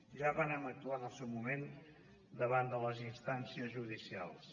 ja vàrem actuar en el seu moment davant de les instàncies judicials